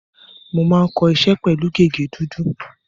Mo máa ń kọ iṣẹ́ pẹ̀lú gègé dúdú.